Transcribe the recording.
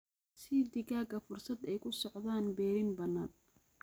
Sii digaagga fursad ay ku socdaan berrin bannaan.